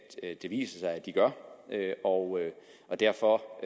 det viser sig at de gør og og derfor